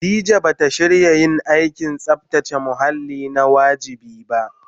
Khadija ba ta shiga yin aikin tsabtace muhalli na wajibi ba